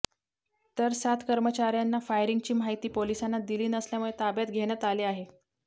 तर सात कर्मचाऱ्यांना फायरिंगची माहिती पोलिसांना दिली नसल्यामुळे ताब्यात घेण्यात आले आहे